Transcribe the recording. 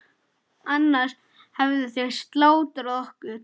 Annars hefðu þeir slátrað okkur.